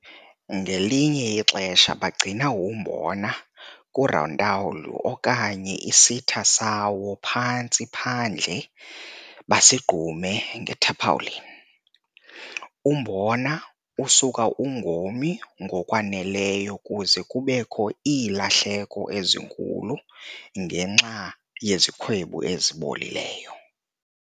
Ngelinye ixesha bagcina umbona kurontawuli okanye isitha sawo phantsi phandle basigqume nge-tarpaulin. Umbona usuka ungomi ngokwaneleyo kuze kubekho iilahleko ezinkulu ngenxa yezikhwebu ezibolileyo.